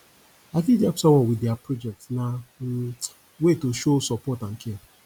i fit help someone with dia project na um way to show support and care